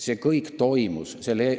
See kõik toimus!